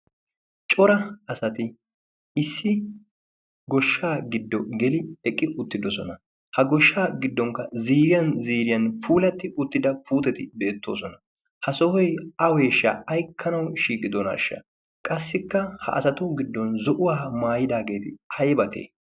cora asati issi goshshaa giddo geli eqqi uttidosona ha goshshaa giddonkka ziiriyan ziiriyan puulatti uttida puuteti beettoosona. ha sohoi aweeshshaa aikkanau shiiqidonaashsha qassikka ha asatu giddon zo'uwaa maayidaageeti ayatee?